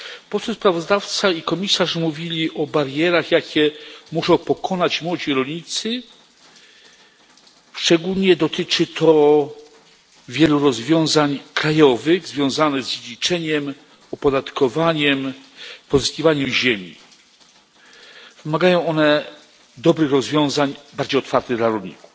Poseł sprawozdawca i komisarz mówili o barierach, jakie muszą pokonać młodzi rolnicy, szczególnie dotyczy to wielu rozwiązań krajowych związanych z liczeniem, opodatkowaniem i pozyskiwaniem ziemi. Wymagają one dobrych rozwiązań, bardziej otwartych dla rolników.